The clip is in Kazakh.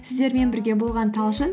сіздермен бірге болған талшын